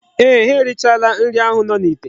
Eeh, ha erichaala nri ahu no n'ite.